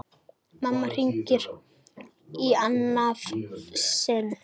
Mamma hringir í annað sinn.